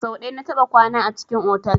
So ɗaya na taɓa kwana a cikin otal.